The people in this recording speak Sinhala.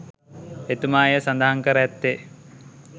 එතුමා එය සඳහන් කර ඇත්තේ